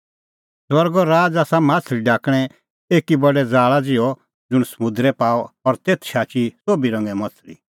स्वर्गो राज़ आसा माह्छ़ली ढाकणें एकी बडै ज़ाल़ा ज़िहअ ज़ुंण समुंदरै पाअ और तेथ शाची सोभी रंगे माह्छ़ली